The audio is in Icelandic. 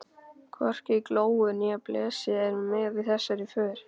Hvorki Glói né Blesi eru með í þessari för.